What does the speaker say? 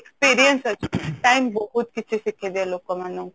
experience ଅଛି time ବହୁତ କିଛି ଶିଖେଇ ଦିଏ ଲୋକମାନଙ୍କୁ